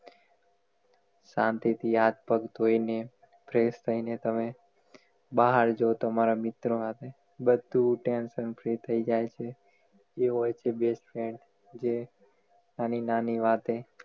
શાંતિ થી હાથ પગ ધોય ને fresh થઈ ને તમે બહાર જવ તમારા મિત્ર સાથે બધુ tension free થઈ જાય છે જે હોય છે best friend જે ખાલી નાની વાતે